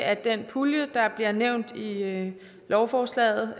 at den pulje der bliver nævnt i lovforslaget